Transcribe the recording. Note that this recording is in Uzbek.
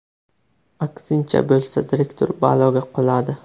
Aksincha bo‘lsa direktor baloga qoladi.